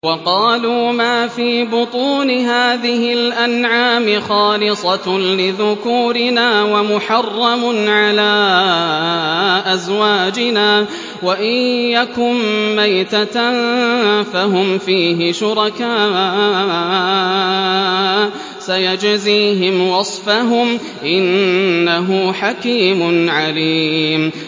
وَقَالُوا مَا فِي بُطُونِ هَٰذِهِ الْأَنْعَامِ خَالِصَةٌ لِّذُكُورِنَا وَمُحَرَّمٌ عَلَىٰ أَزْوَاجِنَا ۖ وَإِن يَكُن مَّيْتَةً فَهُمْ فِيهِ شُرَكَاءُ ۚ سَيَجْزِيهِمْ وَصْفَهُمْ ۚ إِنَّهُ حَكِيمٌ عَلِيمٌ